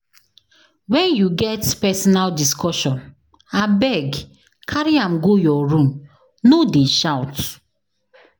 When you get personal discussion, abeg carry am go your room, no dey shout.